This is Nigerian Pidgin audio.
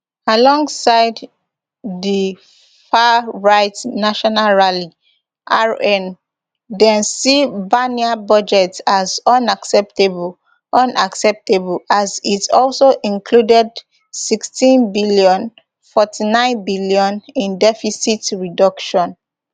alongside di farright national rally rn dem see barnier budget as unacceptable unacceptable as it also included sixtybn forty-ninebn in deficit reduction